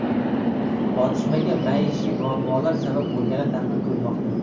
Otishmaga maishiy muammolar sabab bo‘lgani taxmin qilinmoqda.